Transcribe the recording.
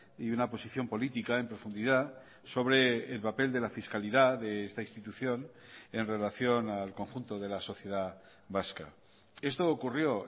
y una posición política en profundidad sobre el papel de la fiscalidad de esta institución en relación al conjunto de la sociedad vasca esto ocurrió